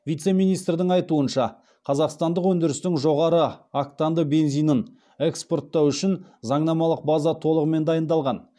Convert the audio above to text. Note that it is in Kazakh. вице министрдің айтуынша қазақстандық өндірістің жоғары октанды бензинін экспорттау үшін заңнамалық база толығымен дайындалған